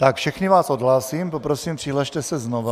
Tak, všechny vás odhlásím, poprosím, přihlaste se znovu.